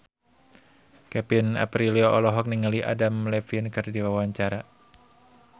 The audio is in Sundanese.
Kevin Aprilio olohok ningali Adam Levine keur diwawancara